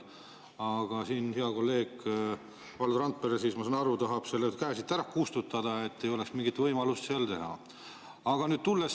Aga hea kolleeg Valdo Randpere, ma saan aru, tahab selle käe siit üldse ära kustutada, et ei oleks mingit võimalust.